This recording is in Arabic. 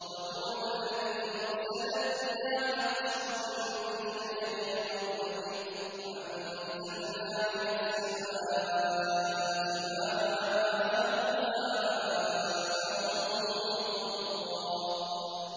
وَهُوَ الَّذِي أَرْسَلَ الرِّيَاحَ بُشْرًا بَيْنَ يَدَيْ رَحْمَتِهِ ۚ وَأَنزَلْنَا مِنَ السَّمَاءِ مَاءً طَهُورًا